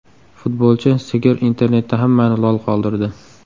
Futbolchi sigir internetda hammani lol qoldirdi .